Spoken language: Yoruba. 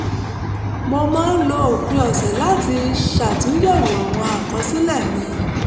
mo máa ń lo òpin ọ̀sẹ̀ láti ṣàtúnyẹ̀wò àwọn àkọsílẹ̀ mi